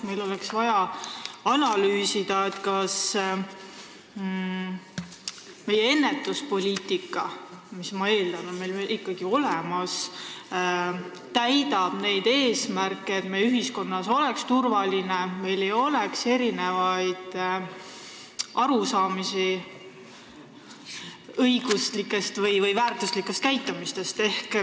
Meil oleks vaja analüüsida, kas meie ennetuspoliitika – ma eeldan, et see on meil ikkagi olemas – täidab neid eesmärke, et ühiskonnas oleks turvaline ja meil ei oleks erinevaid arusaamu õiguslikust käitumisest.